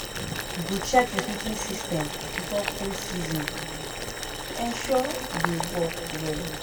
We go check the heating system before cold season to ensure e dey work well.